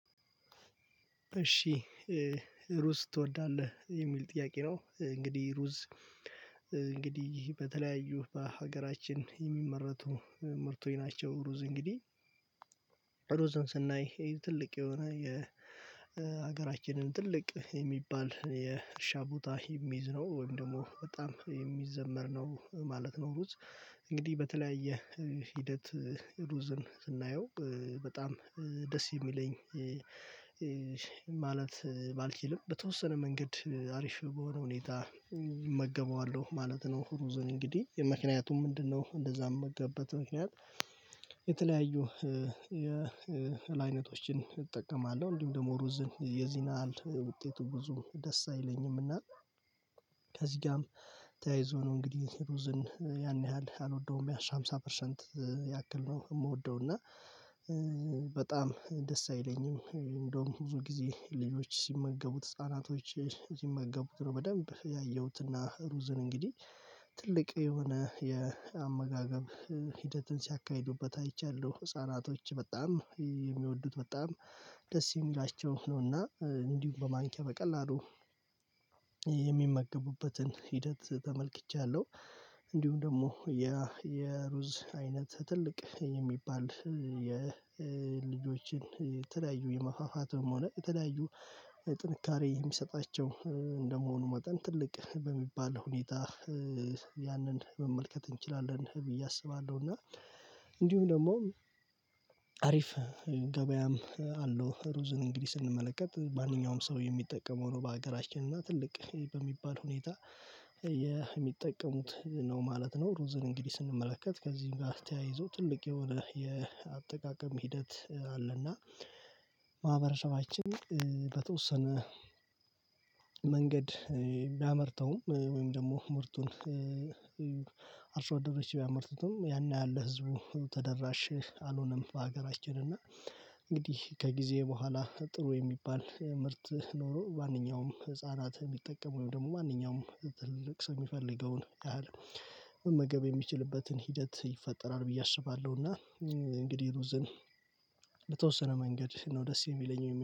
እሺ፤ "ሩዝ ትወዳለህ?" የሚል ጥያቄ ነው። እንግዲህ ሩዝ በተለያዩ በሀገራችን የሚመረቱ ምርቶኝ ናቸው። ሩዝ እንግዲህ ስናይ ትልቅ የሆነ የሀገራችንን ትልቅ የሚባል የእርሻ ቦታ የሚይዝ ነው። ወይም ደግሞ በጣም የሚዘመር ነው ማለት ነው። ሩዝ እንግዲህ በተለያየ ሂደት ሩዝን ስናየው በጣም ደስ የሚለኝ ማለት ባልችልም፤ በተወሰነ መንገድ አሪፍ በሆነ ሁኔታ እመገበዋለሁ ማለት ነው ሩዝን እንግዲህ። ምክንያቱም ምንድነው እንደዛ ምመገብበት ምክንያት የተለያዩ የእህል አይነቶችን እጠቀማለሁ። እንዲሁም ደግሞ ሩዝን የዚን ያህል ውጤቱ ብዙም ደስ አይለኝም። እና ከዚህ ጋርም ተያይዞ ነው እንግዲህ ሩዝን ያን ያህል አልወደውም፤ ያሽ ሃምሳ ፐርሰንት ያክል ነው የምወደው። እና በጣም ደስ አይለኝም። እንደውም ብዙ ጊዜ ልጆች ሲመገቡት ህፃናቶች ሲመገቡት ነው በደንብ ያየሁትና ሩዝን እንግዲህ ትልቅ የሆነ የአመጋገብ ሂደትን ሲያካሂዱበት አይቻለሁ፤ ህፃናቶች በጣም የሚወዱት በጣም ደስ የሚላቸው ነውና እንዲሁም በማንኪያ በቀላሉ የሚመገቡበትን ሂደት ተመልክቻለሁ። እንዲሁም ደግሞ የሩዝ አይነት ትልቅ የሚባል የልጆችን የተለያዩ የመፋፋትም ሆነ የተለያዩ ጥንካሬ የሚሰጣቸው እንደመሆኑ መጠን፤ ትልቅ በሚባል ሁኔታ ያንን መመልከት እንችላለን ብዬ አስባለሁ። እና እንዲሁ ደግሞ አሪፍ ገበያም አለው። ሩዝን እንግዲህ ስንመለከት ማንኛውም ሰው የሚጠቀመው ነው በሀገራችን እና ትልቅ በሚባል ሁኔታ የሚጠቀሙት ነው ማለት ነው። ሩዝን እንግዲህ ስንመለከት ከዚህም ጋር ተያይዞ ትልቅ የሆነ የአጠቃቀም ሂደት አለ። እና ማህበረሰባችን በተወሰነ መንገድ ቢያመርተውም ወይም ደግሞ ምርቱን አርሶአደሮች ቢያመርቱትም ያን ያህል ለህዝቡ ተደራሽ አልሆነም በሀገራችን። እና እንግዲህ ከጊዜ በኋላ ጥሩ የሚባል ምርት ኖሮ ማንኛውም ህፃናት የሚጠቀሙ፤ ወይም ደግሞ ማንኛውም ትልቅ ሰው የሚፈልገውን ያህል መመገብ የሚችልበትን ሂደት ይፈጠራል ብዬ አስባለሁ። እና እንግዲህ ሩዝን ለተወሰነ መንገድ ነው ደስ የሚለኝ